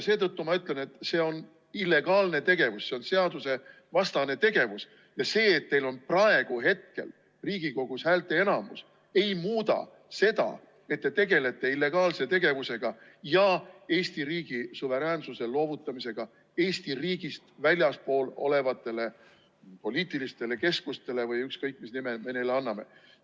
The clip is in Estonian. Seetõttu ma ütlen, et see on illegaalne tegevus, see on seadusevastane tegevus, ja see, et teil on praegu Riigikogus häälteenamus, ei muuda seda, et te tegelete illegaalse tegevusega ja Eesti riigi suveräänsuse loovutamisega Eesti riigist väljaspool olevatele poliitilistele keskustele või ükskõik, mis nime me neile anname.